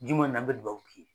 Juma in na me dubabu k'i ye